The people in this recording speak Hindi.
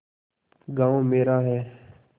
गॉँव मेरा है